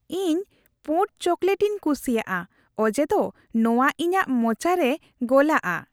ᱤᱧ ᱯᱩᱸᱲ ᱪᱚᱠᱞᱮᱴ ᱤᱧ ᱠᱩᱥᱤᱭᱟᱜᱼᱟ ᱚᱡᱮᱫᱚ ᱱᱚᱶᱟ ᱤᱧᱟᱹᱜ ᱢᱚᱪᱟᱨᱮ ᱜᱚᱞᱟᱜᱼᱟ ᱾